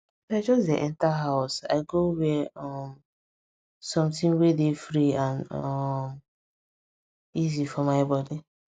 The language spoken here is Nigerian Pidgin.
as i just dey enter house i go wear um something wey dey free and um easy for my body